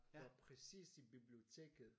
Var præcis i biblioteket